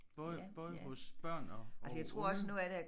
Både både hos børn og og unge